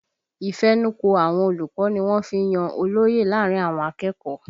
Ìfẹnukò àwọn olùkọ́ ni wọ́n fí ń yan olóye láàrin àwọn akẹ́kọ̀ọ́